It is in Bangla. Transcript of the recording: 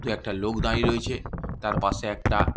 দুএকটা লোক দাড়িয়ে রয়েছে। তার পাশে একটা--